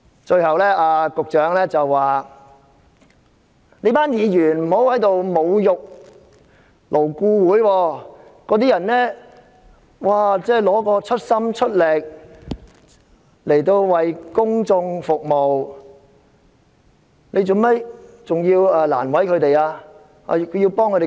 最後，局長請議員不要侮辱勞顧會，因為勞顧會委員盡心盡力為公眾服務，為何要為難他們？